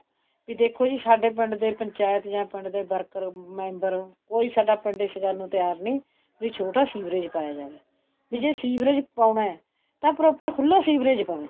ਵੀ ਦੇਖੋ ਜੀ ਸਾਡੇ ਪਿੰਡ ਦੇ ਪੰਚਾਇਤ ਜਾ ਪਿੰਡ ਦੇ worker member ਕੋਈ ਸਾਡਾ ਪਿੰਡ ਇਸ ਗੱਲ ਨੂੰ ਤਿਆਰ ਨਹੀਂ ਵੀ ਛੋਟਾ ਸੀਵਰੇਜ ਪਾਇਆ ਜਾਵੇ ਵੀ ਜ਼ੇ ਸੀਵਰੇਜ ਪਾਉਣਾ ਤਾਂ proper ਖੁੱਲਾ ਸੀਵਰੇਜ ਪਵੇ